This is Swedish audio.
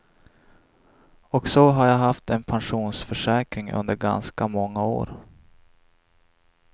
Och så har jag haft en pensionsförsäkring under ganska många år.